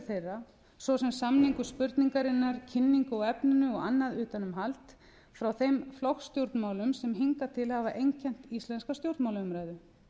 þeirra svo sem samningu spurningarinnar kynningu á efninu og annað utanumhald frá þeim flokkastjórnmálum sem hingað til hafa einkennt íslenska stjórnmálaumræðu